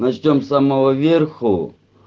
начнём с самого верху